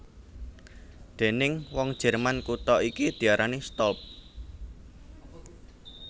Déning wong Jerman kutha iki diarani Stolp